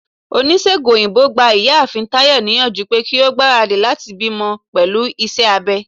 onisegùn oyinbo gbá ìyáàfín Tayo niyanju pe ki o gbarádí latí bimò pelú iṣẹ abé.